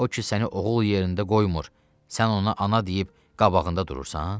O ki səni oğul yerində qoymur, sən ona ana deyib qabağında durursan?